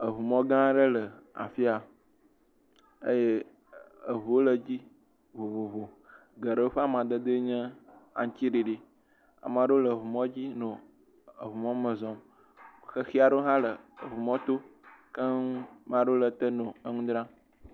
Eŋumɔ gã aɖe le afi ya eye eŋuwo le edzi vovovo. Geɖewo ƒe amadedee nye aŋuti ɖiɖi. Ame aɖewo le eŋumɔ dzi no eŋu mɔ me zɔm. Xexi aɖewo hã le eŋumɔto keŋ. Maɖewo le te nɔ ŋu dzram.